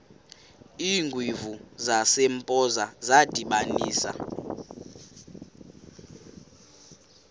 iingwevu zasempoza zadibanisana